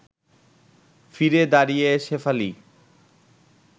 ফিরে দাঁড়িয়ে শেফালি